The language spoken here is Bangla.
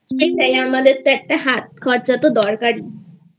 সেটাই আমাদের একটু হাত খরচ তো দরকারিI